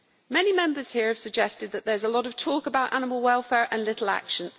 Many Members here have suggested that there is a lot of talk about animal welfare and little action.